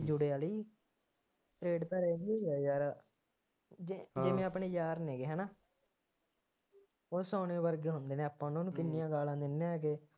ਜੁੜਿਆ ਨਹੀਂ, friend ਤਾਂ ਰਹਿੰਦੇ ਆ ਯਾਰ, ਜੇ ਜਿਵੇਂ ਆਪਣੇ ਯਾਰ ਨੇ ਗੇ ਹੈ ਨਾ, ਉਹ ਸੋਨੇ ਵਰਗੇ ਹੁੰਦੇ ਨੇ ਆਪਾਂ ਉਹਨਾਂ ਨੂੰ ਕਿੰਨੀਆਂ ਗਾਲਾਂ ਦਿੰਦੇ ਹਾਂ